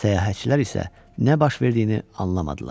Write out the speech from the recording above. Səyahətçilər isə nə baş verdiyini anlamadılar.